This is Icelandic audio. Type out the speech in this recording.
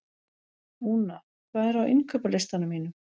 Úna, hvað er á innkaupalistanum mínum?